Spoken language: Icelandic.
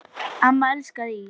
Amma elskaði ís.